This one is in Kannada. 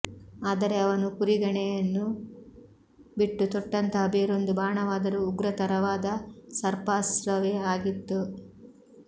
ಆದರೆ ಅವನು ಪುರಿಗಣೆಯನ್ನು ಬಿಟ್ಟು ತೊಟ್ಟಂತಹ ಬೇರೊಂದು ಬಾಣವಾದರೂ ಉಗ್ರತರವಾದ ಸರ್ಪಾಸ್ತ್ರವೆ ಆಗಿತ್ತು